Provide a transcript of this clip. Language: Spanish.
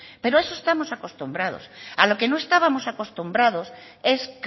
pero a eso estamos acostumbrados a lo que no estábamos acostumbrados es